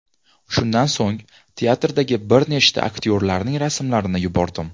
Shundan so‘ng teatrdagi bir nechta aktyorlarning rasmlarini yubordim.